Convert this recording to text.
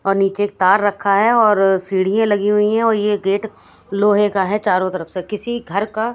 और नीचे तार रखा है और सीढ़ियां लगी हुई हैं और ये गेट लोहे का है चारों तरफ से किसी घर का--